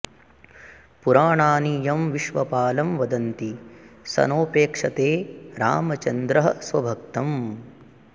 पुराणानि यं विश्वपालं वदन्ति स नोपेक्षते रामचन्द्रः स्वभक्तम्